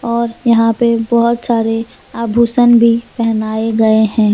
और यहां पे बहुत सारे आभूषण भी पहनाए गए हैं।